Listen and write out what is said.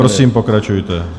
Prosím, pokračujte.